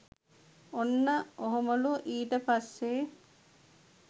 ඔන්න ඔහොමලු ඊට පස්සෙ